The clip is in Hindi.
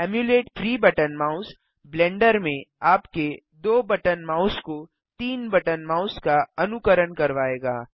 इम्यूलेट 3 बटन माउस ब्लेंडर में आपके 2 बटन माउस को 3 बटन माउस का अनुकरण करवाएगा